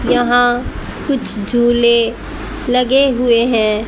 यहां कुछ झूले लगे हुए हैं।